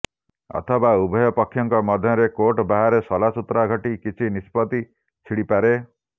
ଅଥବା ଉଭୟ ପକ୍ଷଙ୍କ ମଧ୍ୟରେ କୋର୍ଟ ବାହାରେ ସଲାସୁତୁରା ଘଟି କିଛି ନିଷ୍ପତ୍ତି ଛିଡ଼ିପାରେ